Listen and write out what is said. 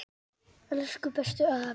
Elsku bestu afi.